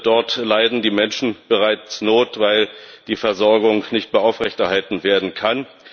Dort leiden die Menschen bereits Not, weil die Versorgung nicht mehr aufrechterhalten werden kann.